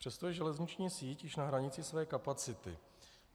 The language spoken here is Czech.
Přesto je železniční síť již na hranici své kapacity.